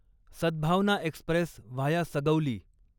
Sadbhavna Express via Sugauli